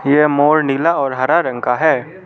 यह मोर नीला और हरा रंग का है।